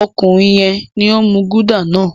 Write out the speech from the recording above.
Ọkùnrin yẹn ni ó ń mú Gulder náà.